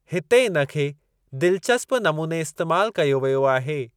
हिते इन खे दिलचस्पु नमूने इस्तेमालु कयो वियो आहे।